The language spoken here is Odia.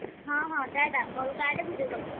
ହଁ ହଁ ଟାଟା। call କାଟେ video call କର।